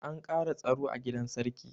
An ƙara tsaro a gidan sarki.